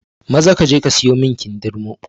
Maza kaje ka siyo min kindirmo!